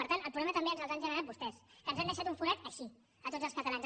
per tant el problema també ens l’han generat vostès que ens han deixat un forat així a tots els catalans